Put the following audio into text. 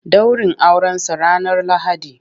Ɗaurin Aurensa ranar Lahadi.